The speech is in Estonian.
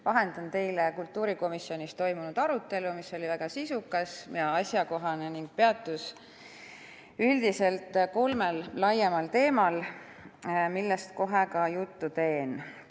Vahendan teile kultuurikomisjonis toimunud arutelu, mis oli väga sisukas ja asjakohane ning peatus üldiselt kolmel laiemal teemal, millest kohe ka juttu teen.